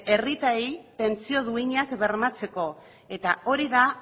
herritarrei pentsio duinak bermatzeko eta hori da